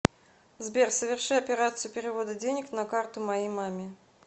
сбер соверши операцию перевода денег на карту моей маме